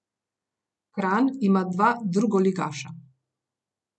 Kranj ima dva drugoligaša.